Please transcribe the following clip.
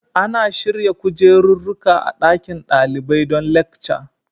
Ana shirya kujeruruƙa a ɗaƙin daliɓai don lekca